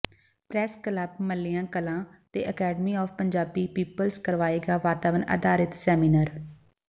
press club Mallian Kalan ਤੇ academy of Punjabi peoples ਕਰਵਾਏਗਾ ਵਾਤਾਵਰਣ ਅਧਾਰਤ ਸੈਮੀਨਾਰ